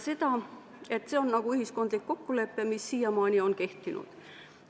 See on nagu ühiskondlik kokkulepe, mis on siiamaani kehtinud.